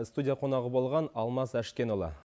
студия қонағы болған алмас әшкенұлы